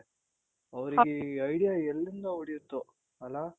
ಅವ್ರಿಗೆ ಈ idea ಎಲ್ಲಿಂದ ಹೊಳಿಯುತ್ತೋ ಅಲ